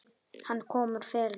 Hann kom úr felum.